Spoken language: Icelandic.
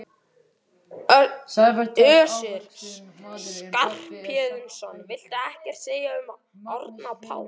Össur Skarphéðinsson: Viltu ekkert segja um Árna Pál?